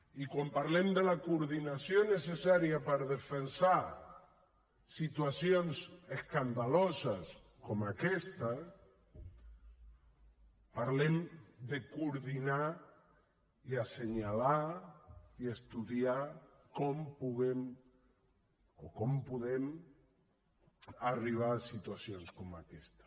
i quan parlem de la coordinació necessària per defensar situacions escandaloses com aquesta parlem de coordinar i assenyalar i estudiar com podem arribar a situacions com aquesta